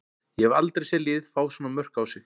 Ég hef aldrei séð lið fá svona mörk á sig.